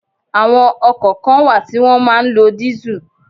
Àwọn ọkọ̀ kan wà tí wọn máa ń lọ diesel.